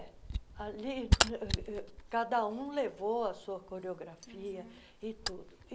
Ali ãh cada um levou a sua coreografia e tudo.